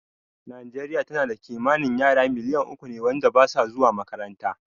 Nijeriya tana da kimanin yara miliyan uku ne wanda basu zuwa makaranta